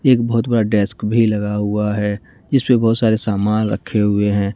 एक बहुत बड़ा डेस्क भी लगा हुआ है इस पर बहुत सारे सामान रखे हुए हैं।